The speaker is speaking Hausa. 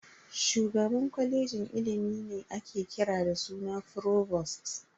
Shugaban kwalejin ilimi ne ake kira da suna "Frovost".